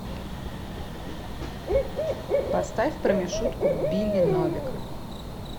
поставь про мишутку билли новика